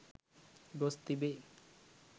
ගොස් තිබේ.